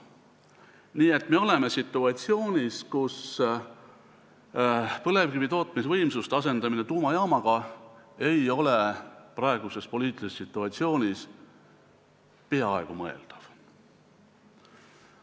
Nii et me oleme situatsioonis, kus põlevkivi tootmisvõimsuste asendamine tuumajaamaga ei ole praeguses poliitilises situatsioonis peaaegu mõeldav.